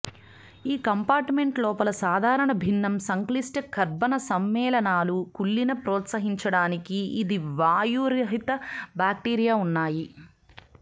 ఈ కంపార్ట్మెంట్ లోపల సాధారణ భిన్నం సంక్లిష్ట కర్బన సమ్మేళనాలు కుళ్ళిన ప్రోత్సహించడానికి ఇది వాయురహిత బ్యాక్టీరియా ఉన్నాయి